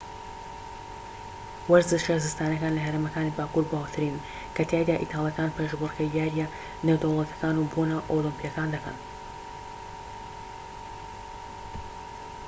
وەرزشە زستانیەکان لە هەرێمەکانی باکوور باوترینن کە تیایدا ئیتالیەکان پێشبڕکێی یاریە نێودەوڵەتیەکان و بۆنە ئۆلیمپیەکان دەکەن